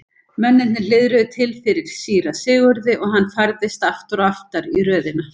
Mennirnir hliðruðu til fyrir síra Sigurði og hann færðist aftar og aftar í röðina.